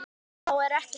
Þá er ekkert vitað.